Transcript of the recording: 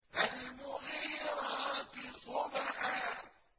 فَالْمُغِيرَاتِ صُبْحًا